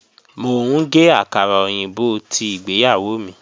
Mò ń gé àkàrà òyìnbó tí ìgbéyàwó mi